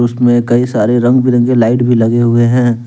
मे कई सारे रंग बिरंगे लाइट भी लगे हुए हैं।